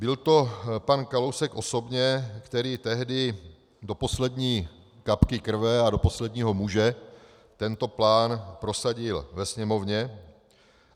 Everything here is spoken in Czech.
Byl to pan Kalousek osobně, který tehdy do poslední kapky krve a do posledního muže tento plán prosadil ve Sněmovně.